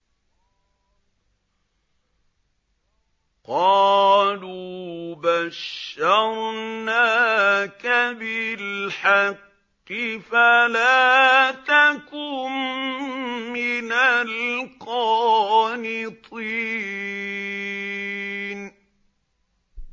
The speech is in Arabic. قَالُوا بَشَّرْنَاكَ بِالْحَقِّ فَلَا تَكُن مِّنَ الْقَانِطِينَ